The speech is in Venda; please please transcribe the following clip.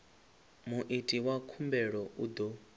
muiti wa khumbelo u ḓo